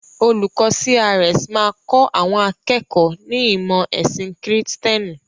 Olùkọ́ CRS máa kọ́ àwọn akẹ́kọ̀ọ́ ní ìmọ̀ ẹ̀sìn kìrìtẹ́nì.